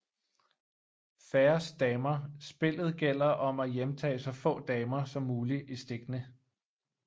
Færrest damer Spillet gælder om at hjemtage så få damer som muligt i stikkene